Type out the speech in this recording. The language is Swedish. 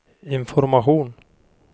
information